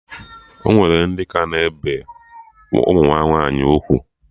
Ọnwere ndị ka na-ebe ụmụ ha nwaanyị ugwu